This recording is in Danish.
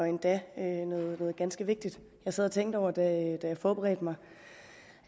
endda noget ganske vigtigt jeg sad og tænkte over da jeg forberedte mig